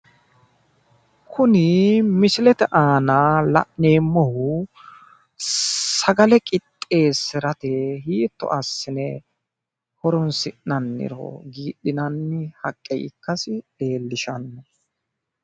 kuni mislete aana la'neemmohu sagale qixxeessirate hiitto assine horonsi'nanniro giidhinnni haqqe ikkasi leellishanno